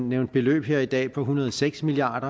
nævnt beløb her i dag på en hundrede og seks milliard